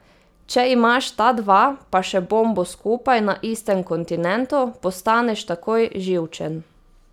Če imaš ta dva pa še bombo skupaj na istem kontinentu, postaneš takoj živčen.